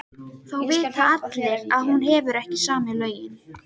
Þá vita allir að hún hefur ekki samið lögin.